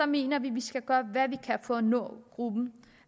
mener vi man skal gøre hvad man kan for at nå gruppen